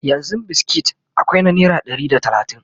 yanzun biskit akwai na naira Ɗari da talatin